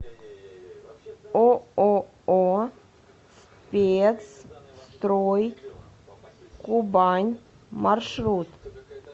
ооо спецстройкубань маршрут